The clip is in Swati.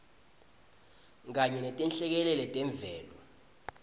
kanye netinhlekelele temvelo